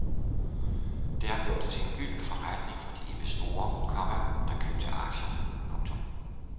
Det har gjort det til en gylden forretning for de investorer, komma der købte aktierne. punktum